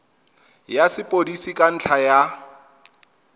ya sepodisi ka ntlha ya